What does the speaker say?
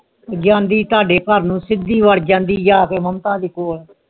ਜਾਂਦੀ ਤੁਹਾਡੇ ਘਰ ਨੂੰ ਸਿੱਦੀ ਵਾਦ ਜਾਂਦੀ ਜਾਕੇ ਮਮਤਾ ਦੇ ਕੋਲ